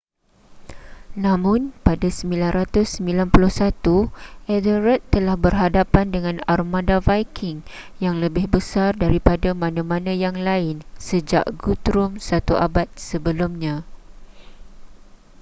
namun pada 991 ethelred telah berhadapan dengan armada viking yang lebih besar daripada mana-mana yang lain sejak guthrum satu abad sebelumnya